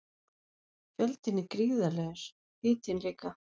Fjöldinn er gríðarlegur, hitinn líka.